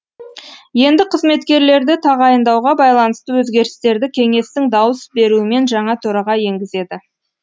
енді қызметкерлерді тағайындауға байланысты өзгерістерді кеңестің дауыс беруімен жаңа төраға енгізеді